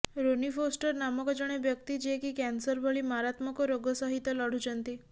Roni Foster ନାମକ ଜଣେ ବ୍ୟକ୍ତି ଯିଏକି କ୍ୟାନସର ଭଳି ମାରାତ୍ମକ ରୋଗ ସହିତ ଲଢୁଛନ୍ତି